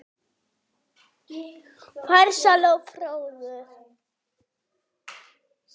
Farsæll og fróður.